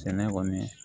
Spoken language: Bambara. Sɛnɛ kɔni